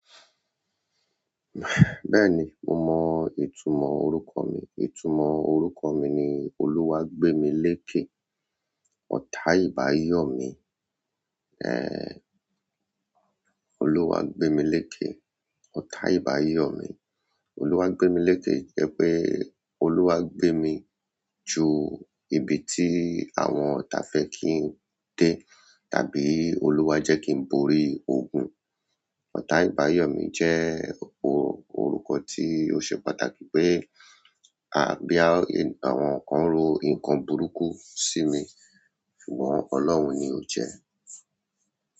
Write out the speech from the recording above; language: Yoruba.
Bẹ́ẹ̀ni mo mọ ìtumọ̀ orúkọ mi. Ìtumọ̀ orúkọ mi ni Olúwa gbé mi léèké, ọ̀tá ìbà yọ̀ mí. Ẹ̀, Olúwa gbé mi léèké, ọ̀tá ìbà yọ̀ mí. Olúwa gbé mi léèké jẹ́ pé, Olúwa gbé mi ju ibi tí àwọn òtá fẹ́ kí n dé tàbí Olúwa jẹ́ kí n borí ogun. Ọ̀tá ìbà yọ̀ mí jẹ́ orúkọ tí ó ṣe pàtàkì pé àbí àwọn kan ń ro nǹkan burúkú sí mi, ṣùgbọ́n Ọlọ́run ni ó jẹ́